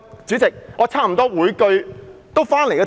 主席，我差不多每句都針對議題。